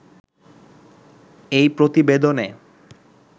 এই প্রতিবেদনে